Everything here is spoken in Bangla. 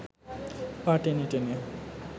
পা টেনে টেনে